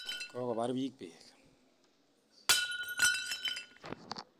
Kokobar biik beek